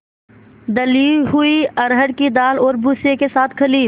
दली हुई अरहर की दाल और भूसे के साथ खली